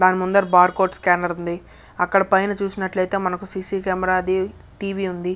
దాని ముందర bar code scanner ఉంది అక్కడ పైన చూసినట్లయితే మనకు సి. సి. కెమెరా ది టివీ ఉంది.